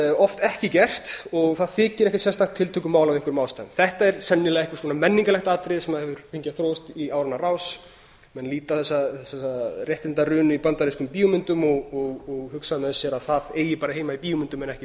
oft ekki gert og það þykir ekkert sérstakt tiltökumál af einhverjum ástæðum þetta er sennilega einhvers konar menningarlegt atriði sem hefur fengið að þróast í áranna rás menn líta á þessa réttindarunu í bandarískum bíómyndum og hugsa með sér að það eigi bara heima í bíómyndum en